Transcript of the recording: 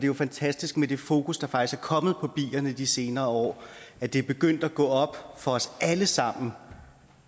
jo fantastisk med det fokus der faktisk er kommet på bierne de senere år det det er begyndt at gå op for os alle sammen